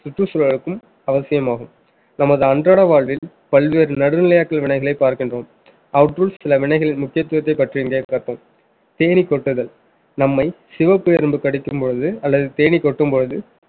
சுற்றுச்சூழலுக்கும் அவசியமாகும் நமது அன்றாட வாழ்வில் பல்வேறு நடுநிலையாட்கள் வினைகளை பார்க்கின்றோம் அவற்றுள் சில வினைகள் முக்கியத்துவத்தை பற்றிய தேனீ கொட்டுதல் நம்மை சிவப்பு எறும்பு கடிக்கும்போது அல்லது தேனீ கொட்டும் பொழுது